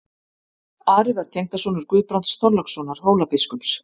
Ari var tengdasonur Guðbrands Þorlákssonar Hólabiskups.